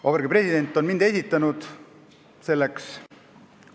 Vabariigi President on esitanud selleks mind.